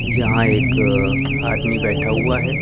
यहां एक आदमी बैठा हुआ है।